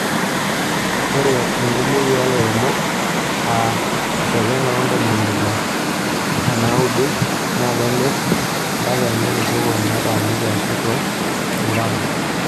Ore enkumoki oo lairemok aa esjata oo ntomi ile onaaudo naa kemir mpuka enye tosokoni otaaniki aashu toolburuka .